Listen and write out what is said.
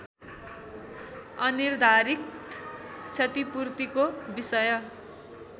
अनिर्धारित क्षतिपूर्तिको विषय